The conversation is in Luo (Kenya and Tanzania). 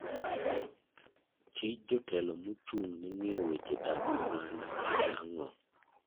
Tij jotelo mochung' ne ng'iyo weche dak oganda en ang'o?